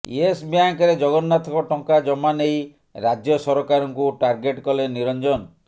Yes ବ୍ୟାଙ୍କରେ ଜଗନ୍ନାଥଙ୍କ ଟଙ୍କା ଜମା ନେଇ ରାଜ୍ୟ ସରକାରଙ୍କୁ ଟାର୍ଗେଟ୍ କଲେ ନିରଞ୍ଜନ